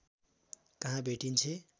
कहाँ भेटिन्छे